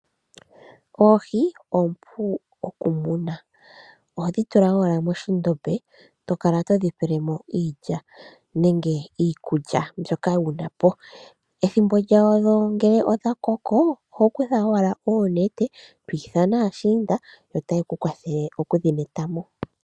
Oohi oompu okumunwa molwaashoka ohadhi tula owala mokandombe moka hadhi pelwamo iikulya. Ethimbo ngele lyathikana lyokuyuulamo, ohadhi netwamo kongundu yaantu.